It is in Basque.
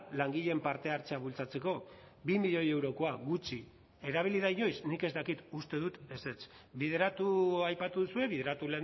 langileen parte hartzea bultzatzeko bi milioi eurokoa gutxi erabili da inoiz nik ez dakit uste dut ezetz bideratu aipatu duzue bideratu